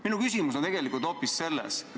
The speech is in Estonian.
Minu küsimus aga on hoopis selline.